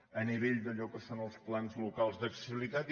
a nivell d’allò que són els plans locals d’accessibilitat